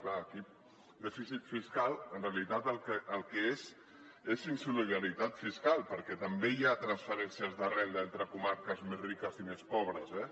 clar aquí dèficit fiscal en realitat el que és és insolidaritat fiscal perquè també hi ha transferències de renda entre comarques més riques i més pobres eh